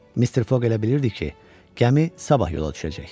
Mister Foq elə bilirdi ki, gəmi sabah yola düşəcək.